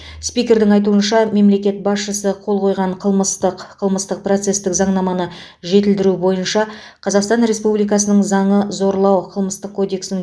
спикердің айтуынша мемлекет басшысы қол қойған қылмыстық қылмыстық процестік заңнаманы жетілдіру бойынша қазақстан республикасының заңы зорлау қылмыстық кодекстің